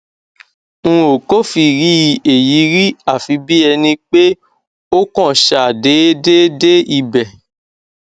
n ò kófìrí èyí rí àfi bí ẹni pé ó kàn ṣàdéédé dé ibẹ